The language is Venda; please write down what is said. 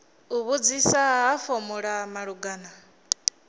u vhudzisa ha fomala malugana